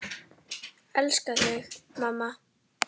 Elska þig, mamma.